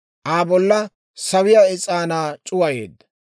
Aa bolla sawiyaa is'aanaa c'uwayeedda.